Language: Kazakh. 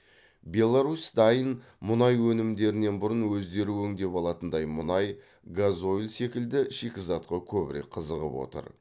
беларусь дайын мұнай өнімдерінен бұрын өздері өңдеп алатындай мұнай газойль секілді шикізатқа көбірек қызығып отыр